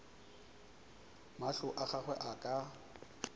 mahlo a gagwe a ka